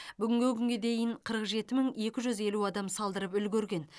бүгінгі күнге дейін қырық жеті мың екі жүз елу адам салдырып үлгерген